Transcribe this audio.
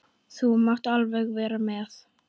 Þú mátt alveg vera með.